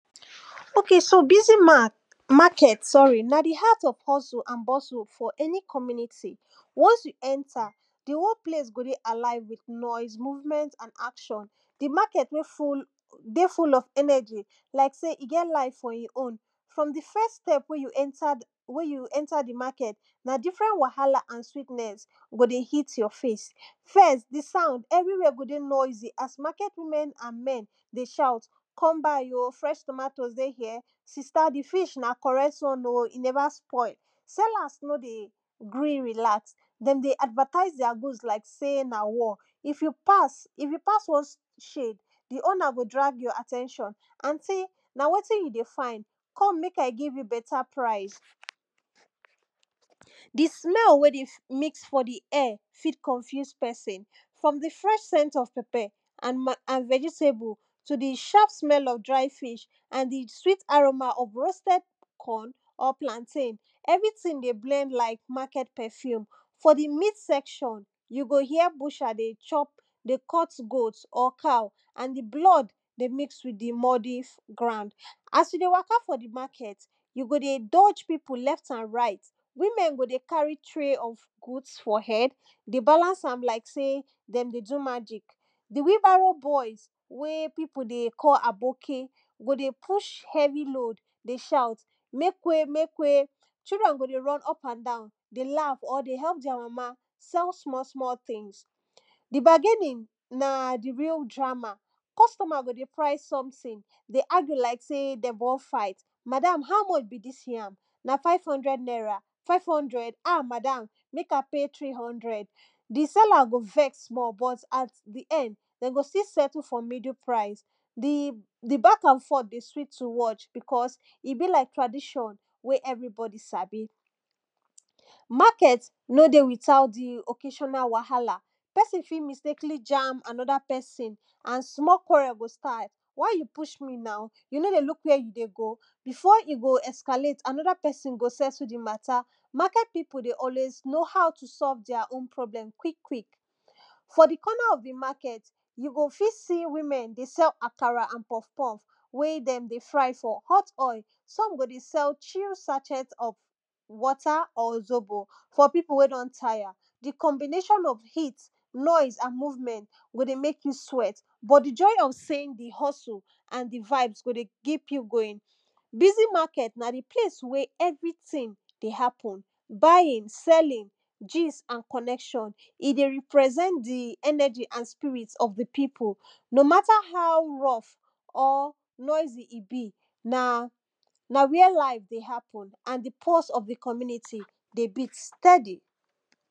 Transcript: okay so busy mat market sorry na di heart of hustle and bustle for any community. once you enter, di whole place go dey alive with noise movement and action di market dey full dey full of energy like sey e get life for im own, from di first step wey you enter di wey you enter di market na different wahala and sweetness go dey hit your face first, di sound everywhere go dey noisy as market women and men go dey shout come buy oh! fresh tomatoes dey here, sister dis fish na correct one oh, e never spoil sellers nor dey gree relax dem dey advertise their food like sey na war. if you pass, if you pass one shade di owner go drag your at ten tion; anty na wetin you dey find? come make I give you better price. di smell wey dey [2] mix for di air fit confuse person, from di fresh scent of pepper and ma and vegetable, to di sharp smell of dry fish and di sweet aroma of roasted corn or plantain, everything dey blend like market perfume. for di meat section, you go hear butcher dey chop dey cut goat or cow and di blood dey mix with di mody [2] ground. as you dey waka for di market, you go dey dodge people left and right, women go dey carry tray of goods for head dey balance am like sey dem dey do magic. di wheelbarrow boys wey people dey call aboki, go dey push heavy load dey shout make way! make way! children go dey run up and down dey laugh or dey help their mama sell small small things. di bargaining na di real drama, costumer go dey price something dey argue like sey dem wan fight; madam how much be dis yam? five hundred naira five hundred ah! madam make I pay three hundred di seller go vex small but at di end dem go still settle for middle price. di di back and forth dey sweet to watch because e be like tradition wey everybody sabi. market nor dey without di occasiona wahala, person fit mistakenly jam di another person small quarrel go start; why you push me now? you nor dey look where you dey go? before e go escalate another person go settle di matter, market people dey always know how to solve their own problem quick quick. for di corner of di market, you go fit see women dey sell akara and puff puff wey dem dey fry for hot oil. some go dey sell chill sachet of water or zobo for people wen don tire. di combination of heat, noise and movement go dey make you sweat, but di joy of seeing di hustle and di vibes go dey keep you going. busy market na di place wey everything dey happen buying, selling, gist and connection. e dey represent di energy and spirit of di people. no matter how rough or noisy e be, na na where life dey happen and di pulse of di community dey beat steady.